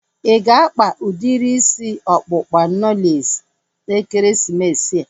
Ị ga-akpa udiri isi ọkpụkpa nọtlees ekeresimesi a?